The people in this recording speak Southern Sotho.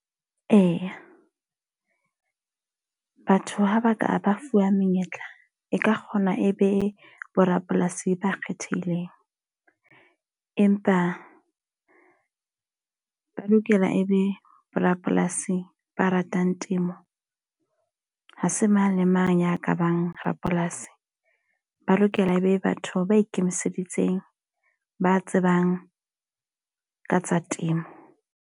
Eya, batho ha ba ka ba fuwa menyetla e ka kgona e be borapolasi ba kgethehileng. Empa ba lokela e be borapolasi ba ratang temo. Ha se mang le mang ya ka bang rapolasi. Ba lokela e be batho ba ikemiseditseng, ba tsebang ka tsa temo.